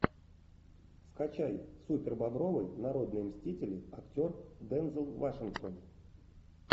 скачай супербобровы народные мстители актер дензел вашингтон